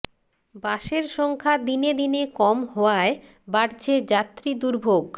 বাসের সংখ্যা দিনে দিনে কম হওয়ায় বাড়ছে যাত্রী দুর্ভোগ